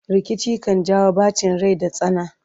rikici kan jawo ɓacin Rai da tsana